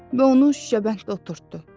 Və onu şüşəbəndə oturtdu.